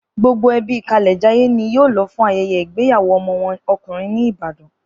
Gbogbo ẹbí Kalẹ̀jayé ni yóò lọ fún ayẹyẹ igbeyawo ọmọ wọn ọkùnrin ní Ìbàdàn